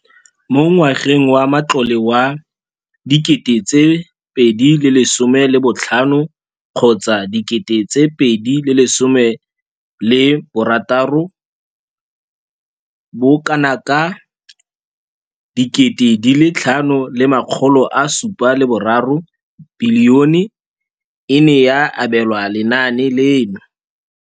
Mo ngwageng wa matlole wa 2015,16, bokanaka R5 703 bilione e ne ya abelwa lenaane leno.